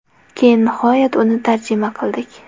Keyin nihoyat uni tarjima qildik.